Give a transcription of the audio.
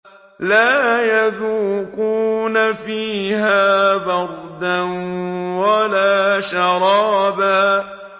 لَّا يَذُوقُونَ فِيهَا بَرْدًا وَلَا شَرَابًا لَّا يَذُوقُونَ فِيهَا بَرْدًا وَلَا شَرَابًا